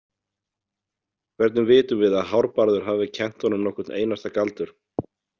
Hvernig vitum við að Hárbarður hafi kennt honum nokkurn einasta galdur?